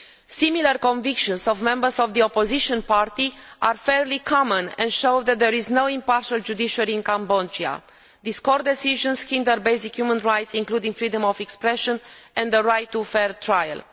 Similar convictions of members of the opposition party are fairly common, and show that there is no impartial judiciary in Cambodia. These court decisions hinder basic human rights, including the freedom of expression and the right to a fair trial.